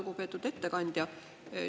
Lugupeetud ettekandja!